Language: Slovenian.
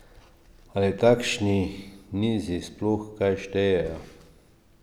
Ali takšni nizi sploh kaj štejejo?